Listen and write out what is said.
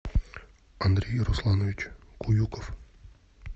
андрей русланович куюков